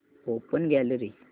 open gallery